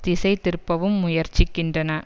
திசை திருப்பவும் முயற்சிக்கின்றன